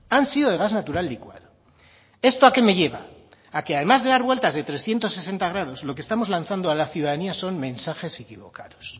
han sido de gas natural licuado esto a qué me lleva a que además de dar vueltas de trescientos sesenta grados lo que estamos lanzando a la ciudadanía son mensajes equivocados